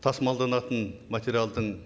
тасымалданатын материалдың